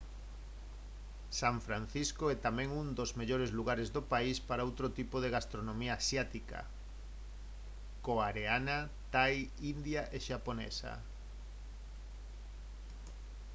san francisco é tamén un dos mellores lugares do país para outro tipo de gastronomía asiática coareana thai india e xaponesa